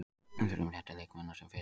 Við þurfum réttu leikmennina sem fyrst.